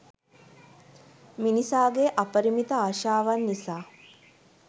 මිනිසාගේ අපරිමිත ආශාවන් නිසා